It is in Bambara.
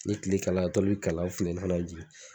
Ni kile kalayala tɔli be kalaya funteni fɛnɛ be jigi